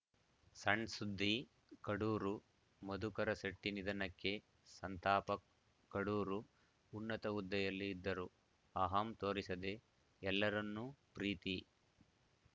ಸಣ್‌ಸುದ್ದಿ ಕಡೂರು ಮಧುಕರ ಶೆಟ್ಟಿನಿಧನಕ್ಕೆ ಸಂತಾಪ ಕಡೂರು ಉನ್ನತ ಹುದ್ದೆಯಲ್ಲಿ ಇದ್ದರೂ ಅಹಂ ತೋರಿಸದೆ ಎಲ್ಲರನ್ನೂ ಪ್ರೀತಿ